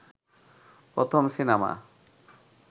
প্রথম সিনেমা